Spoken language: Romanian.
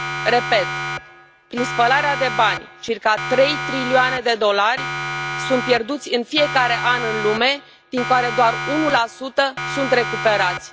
Repet, prin spălarea de bani, circa trei trilioane de dolari sunt pierduți în fiecare an în lume, din care doar 1 sunt recuperați.